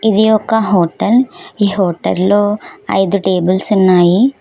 ఇది ఒక హోటల్ ఈ హోటల్లో ఐదు టేబుల్స్ ఉన్నాయి.